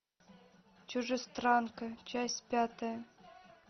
чужестранка часть пятая